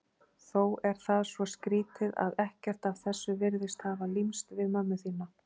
Þó er það svo skrýtið að ekkert af þessu virðist hafa límst við mömmu þína.